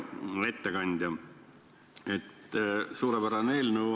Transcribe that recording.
Hea ettekandja, suurepärane eelnõu.